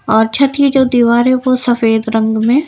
और छत की जो दीवार है वो सफेद रंग में--